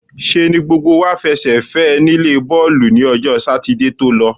ṣe ni gbogbo wá fẹsẹ̀ fẹ́ ẹ nílé bọ́ọ̀lù ni ọjọ́ Sátidé tó lọ.